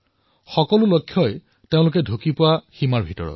কোনো বস্তুৱেই তেওঁলোকৰ অগম্য নহয়